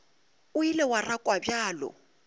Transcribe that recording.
o ile wa rakwa bjalo